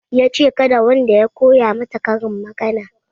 Yace kada wanda ya koya mata karin magana